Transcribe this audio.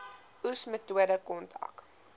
oes metode kontrak